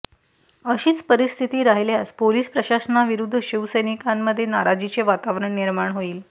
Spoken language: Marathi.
अशीच परिस्थिती राहिल्यास पोलीस प्रशासनाविरुध्द शिवसैनिकांमध्ये नाराजीचे वातावरण निर्माण होईल